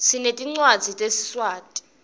sinetincwadzi tesiswati